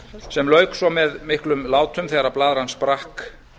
sem lauk svo með miklum látum þegar blaðran sprakk